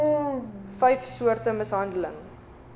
vyf soorte mishandeling